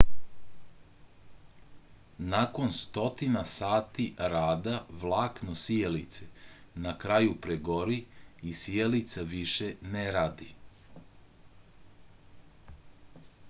nakon stotina sati rada vlakno sijalice na kraju pregori i sijalica više ne radi